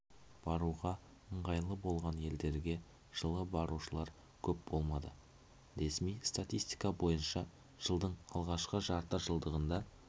баруға ыңғайлы болған елдерге жылы барушылар көп болмады ресми статистика бойынша жылдың алғашқы жарты жылдығында